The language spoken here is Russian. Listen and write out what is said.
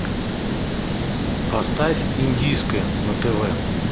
поставь индийское на тв